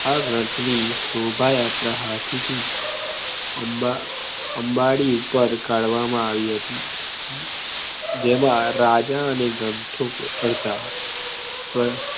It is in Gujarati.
આ ગ્રંથ ની શોભા યાત્રા હાથી થી અંબાડી ઉપર કાઢવામાં આવી હતી જેમા રાજા અને ગન્તુક બેઠા